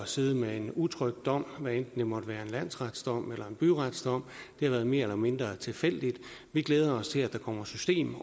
sidde med en utrykt dom hvad enten det måtte være en landsretsdom eller byretsdom det har været mere eller mindre tilfældigt vi glæder os til at der kommer system